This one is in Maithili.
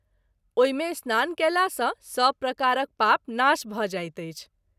ओहि मे स्नान कएला सँ सभ प्रकारक पाप नाश भ’ जाइत अछि।